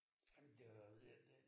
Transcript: Ej men det var det det